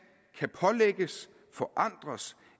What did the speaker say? kan pålægges forandres